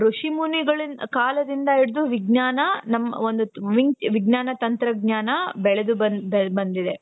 ಋಷಿಮುನಿಗಳ ಕಾಲದಿಂದ ಹಿಡಿದು ವಿಜ್ಞಾನ ನಮ್ ಒಂದ್ ವಿಜ್ಞಾನ ತಂತ್ರಜ್ಞಾನ ಬೆಳೆದು ಬಂದ್ ಬೆಳದು ಬಂದಿದೆ .